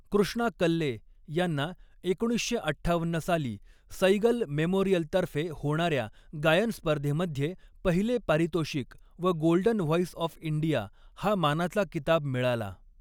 कृष्णा कल्ले यांना एकोणीसशे अठ्ठावन्न साली सैगल मेमोरिअलतर्फे होणाऱ्या गायन स्पर्धेमध्ये पहिले पारितोषिक व गोल्डन व्हॉइस ऑॅफ इंडिया हा मानाचा किताब मिळाला.